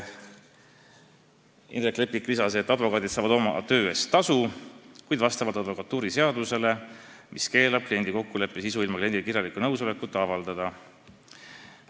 Indrek Leppik lisas, et advokaadid saavad oma töö eest tasu, kuid advokatuuriseadus keelab kliendi kokkuleppe sisu ilma kliendi kirjaliku nõusolekuta avaldada.